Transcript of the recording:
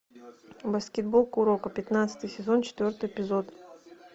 баскетбол куроко пятнадцатый сезон четвертый эпизод